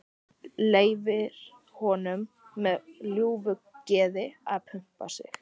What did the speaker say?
Leyfir honum með ljúfu geði að pumpa sig.